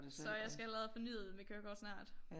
Så jeg skal allerede have fornyet mit kørekort snart